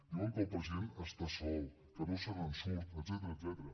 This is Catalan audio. diuen que el president està sol que no se’n surt etcètera